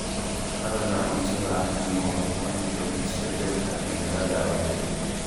Dalagga cunnada ayaa noqday kuwo nugul isbedelka cimilada awgeed.